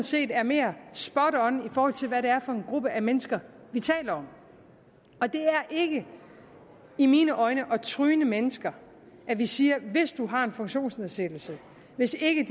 set er mere spot on i forhold til hvad det er for en gruppe af mennesker vi taler om og det er ikke i mine øjne at tryne mennesker at vi siger at hvis man har en funktionsnedsættelse hvis ikke